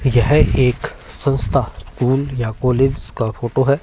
यह एक संस्था स्कूल या कॉलेज का फोटो है।